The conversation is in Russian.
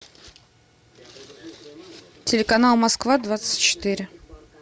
телеканал москва двадцать четыре